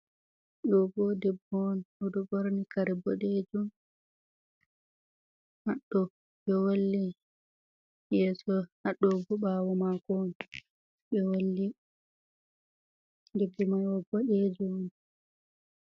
Ɗo bo debbo on ɗo dari ɓorni kare boɗejum, ɓe wolli yeeso ha ɗo bo ɓawo mako ɓe wolli, limse mai boɗejum on.